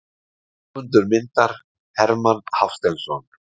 Höfundur myndar: Hermann Hafsteinsson.